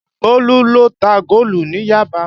Bólú lọ ta góòlù ní Yaba